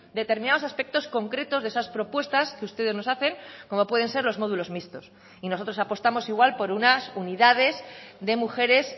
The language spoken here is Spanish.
determinados aspectos concretos de esas propuestas que ustedes nos hacen como pueden ser los módulos mixtos y nosotros apostamos igual por unas unidades de mujeres